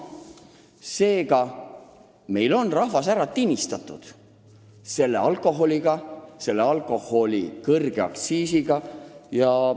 Seega, meil on rahvas ära tinistatud selle alkoholiga, alkoholi kõrge aktsiisiga.